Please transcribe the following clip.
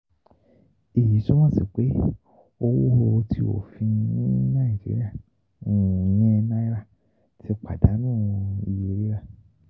Eyi tumọ si pe owo ti ofin ni Naijiria, um ìyẹn Naira, ti padanu iye rira.